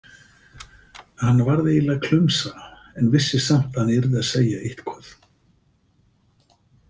Hann varð eiginlega klumsa en vissi samt að hann yrði að segja eitthvað.